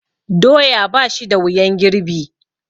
Doya ba shi da wuyan girbi.